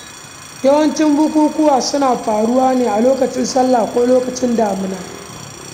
Yawancin bukukuwa suna faruwa ne a lokacin sallah ko lokacin damina.